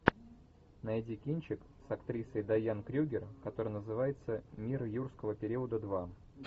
найди кинчик с актрисой дайан крюгер который называется мир юрского периода два